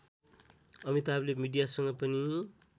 अमिताभले मीडियासँग पनि